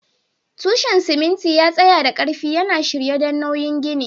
Tushen simintin ya tsaya da ƙarfi, yana shirye don nauyin ginin.